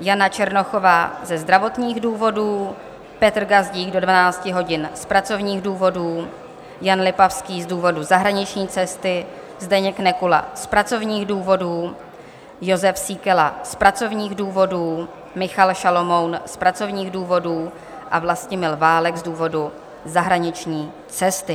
Jana Černochová ze zdravotních důvodů, Petr Gazdík do 12 hodin z pracovních důvodů, Jan Lipavský z důvodu zahraniční cesty, Zdeněk Nekula z pracovních důvodů, Jozef Síkela z pracovních důvodů, Michal Šalomoun z pracovních důvodů a Vlastimil Válek z důvodu zahraniční cesty.